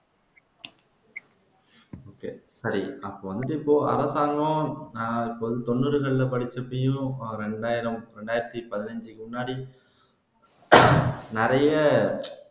சரி அப்போ வந்து இப்போ அரசாங்கம் நான் இப்போ தொன்னூறுகளில படிச்ச இரண்டாயிரம் இரண்டாயிரத்தி பதினைந்துக்கு முன்னாடி நிறைய